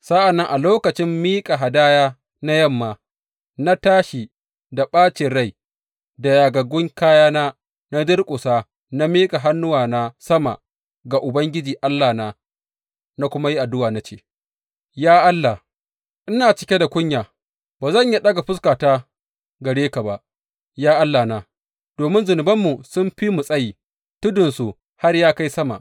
Sa’an nan a lokacin miƙa hadaya na yamma, na tashi da ɓacin raina, da yagaggun kayana, na durƙusa na miƙa hannuwana sama ga Ubangiji Allahna na kuma yi addu’a, na ce, Ya Allah, ina cike da kunya, ba zan iya ɗaga fuskata gare ka ba, ya Allahna, domin zunubanmu sun fi mu tsayi, tudunsu har ya kai sama.